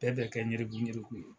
Bɛɛ bɛ kɛ ŋerekuɲereku ye